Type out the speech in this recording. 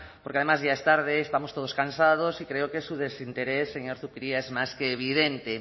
porque además ya es tarde estamos todos cansados y creo que su desinterés señor zupiria es más que evidente